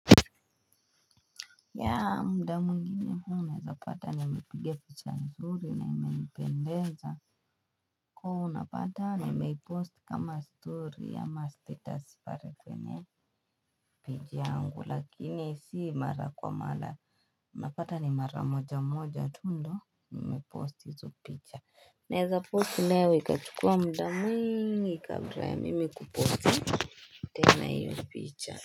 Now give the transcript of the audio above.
Ya mda mwingine huu naeza pata nimepiga picha nzuri na imenipendeza Kuo unapata nimeipost kama story ama status pare kwenye Pej yangu lakini si mara kwa mala Napata ni mara moja moja tundo nimepost hizo picha na eza posti leo ikachukua mda mwingi kabra ya mimi kuposti tena iyo picha.